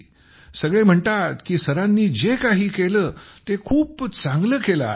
सगळे म्हणतात की सरांनी जे काही केले ते खूप चांगले केले आहे